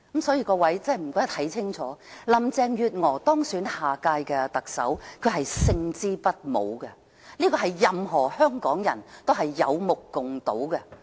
所以，請各位看清楚，林鄭月娥當選下任特首，她是勝之不武，這是任何香港人有目共睹的。